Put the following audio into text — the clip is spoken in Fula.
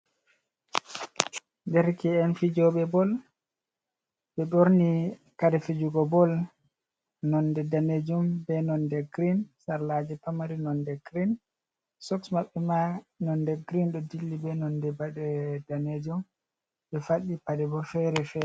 Derke’en fijooɓe bol. Ɓe ɓorni kare fijugo bol nonde daneejum be nonde girin, sarlaaji pamari nonde girin, soks maɓɓe ma nonde girin ɗo dilli be nonde bode daneejum, ɓe faɗɗi paɗe bo fere fe.